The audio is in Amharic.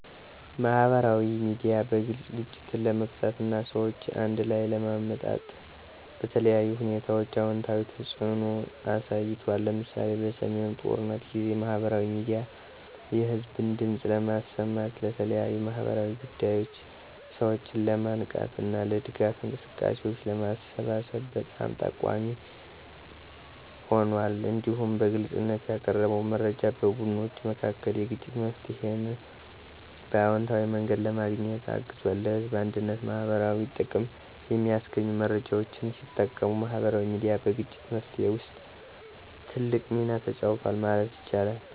ማህበራዊ ሚዲያ በግልጽ ግጭትን ለመፍታት እና ሰዎችን አንድ ላይ ለማምጣት በተለያዩ ሁኔታዎች አዎንታዊ ተጽዕኖ አሳይቷል። ለምሳሌ፣ በሰሜኑ ጦርነት ጊዜ ማህበራዊ ሚዲያ የህዝብን ድምፅ ለማሰማት፣ ለተለያዩ ማህበራዊ ጉዳዮች ሰዎችን ለማንቃት እና ለድጋፍ እንቅስቃሴዎች ለማሰባሰብ በጣም ጠቃሚ ሆኗል። እንዲሁም በግልጽነት ያቀረበ መረጃ በቡድኖች መካከል የግጭት መፍትሄን በአዎንታዊ መንገድ ለማግኘት አግዟል። ለህዝብ አንድነትና ማህበረሰባዊ ጥቅም የሚያስገኙ መረጃዎችን ሲጠቀሙ ማህበራዊ ሚዲያ በግጭት መፍትሄ ውስጥ ትልቅ ሚና ተጫውቷል ማለት ይቻላል።